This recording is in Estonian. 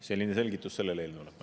Selline selgitus selle eelnõu kohta.